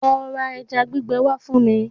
Lo ra ẹja gbígbẹ wá fún mi!